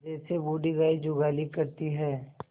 जैसे बूढ़ी गाय जुगाली करती है